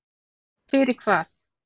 Og fyrir hvað?